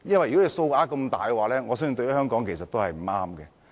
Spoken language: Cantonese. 超支數額這麼大，我相信對香港是不利的。